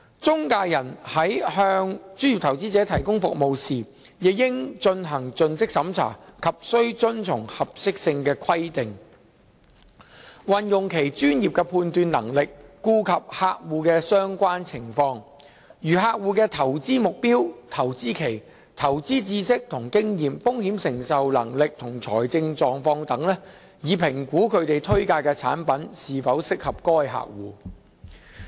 中介人在向專業投資者提供服務時，亦應進行盡職審查及須遵從合適性規定，運用其專業判斷能力，顧及客戶的相關情況，如客戶的投資目標、投資期、投資知識與經驗、風險承受能力及財政狀況等，以評估他們推介的產品是否適合該客戶。